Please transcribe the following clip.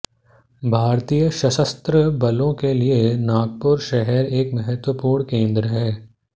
भारतीय सशस्त्र बलों के लिए नागपुर शहर एक महत्वपूर्ण केंद्र है